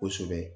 Kosɛbɛ